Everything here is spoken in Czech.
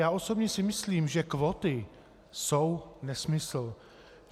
Já osobně si myslím, že kvóty jsou nesmysl.